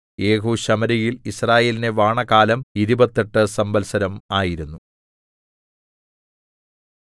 യേഹൂ ശമര്യയിൽ യിസ്രായേലിനെ വാണകാലം ഇരുപത്തെട്ട് സംവത്സരം ആയിരുന്നു